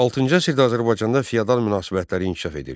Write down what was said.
VI əsrdə Azərbaycanda feodal münasibətlər inkişaf edirdi.